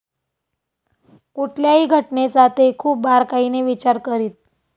कुठल्याही घटनेचा ते खूप बारकाईने विचार करीत.